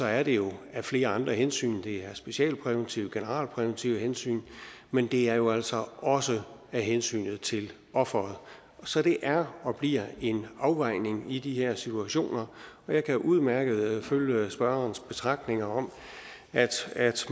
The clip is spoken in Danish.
er det jo af flere andre hensyn det er af specialpræventive og generalpræventive hensyn men det er jo altså også af hensyn til offeret så det er og bliver en afvejning i de her situationer og jeg kan udmærket følge spørgerens betragtninger om at